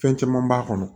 Fɛn caman b'a kɔnɔ